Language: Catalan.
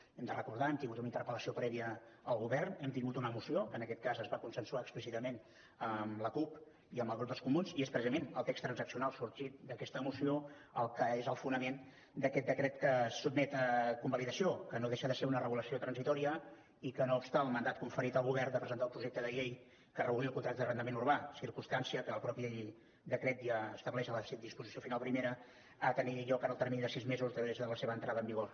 ho hem de recordar hem tingut una interpel·lació prèvia al govern hem tingut una moció que en aquest cas es va consensuar explícitament amb la cup i amb el grup dels comuns i és precisament el text transaccional sorgit d’aquesta moció el que és el fonament d’aquest decret que es sotmet a convalidació que no deixa de ser una regulació transitòria i que no obsta per al mandat conferit al govern de presentar un projecte de llei que reguli el contracte d’arrendament urbà circumstància que el mateix decret ja estableix a la disposició final primera a tenir lloc en el termini de sis mesos després de la seva entrada en vigor